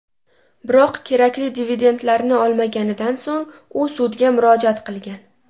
Biroq kerakli dividendlarni olmaganidan so‘ng u sudga murojaat qilgan.